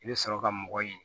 I bɛ sɔrɔ ka mɔgɔ ɲini